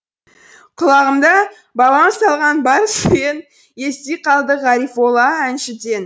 құлағымда бабам салған бар сүрен ести қалдық ғарифолла әншіден